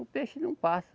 O peixe não passa.